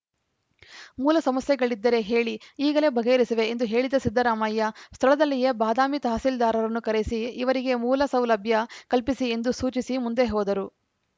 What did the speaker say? ಮೂಲ ಸಮಸ್ಯೆಗಳಿದ್ದರೆ ಹೇಳಿ ಈಗಲೇ ಬಗೆಹರಿಸುವೆ ಎಂದು ಹೇಳಿದ ಸಿದ್ದರಾಮಯ್ಯ ಸ್ಥಳದಲ್ಲಿಯೇ ಬಾದಾಮಿ ತಹಸೀಲ್ದಾರರನ್ನು ಕರೆಸಿ ಇವರಿಗೆ ಮೂಲ ಸೌಲಭ್ಯ ಕಲ್ಪಿಸಿ ಎಂದು ಸೂಚಿಸಿ ಮುಂದೆ ಹೋದರು